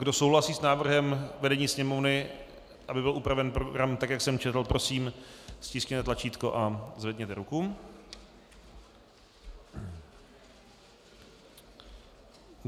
Kdo souhlasí s návrhem vedení Sněmovny, aby byl upraven program tak, jak jsem četl, prosím, stiskněte tlačítko a zvedněte ruku.